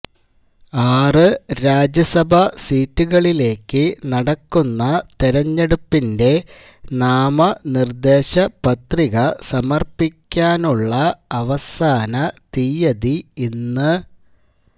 ആറ് രാജ്യസഭാ സീറ്റുകളിലേക്ക് നടക്കുന്ന തെരഞ്ഞെടുപ്പിന്റെ നാമനിർദേശ പത്രിക സമർപ്പിക്കാനുള്ള അവസാന തിയതി ഇന്ന്